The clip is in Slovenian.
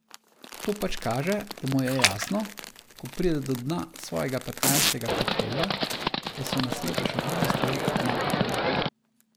To pač kaže, da mu je jasno, ko pride do dna svojega petnajstega koktejla, da so na svetu še druge stvari od marketinga.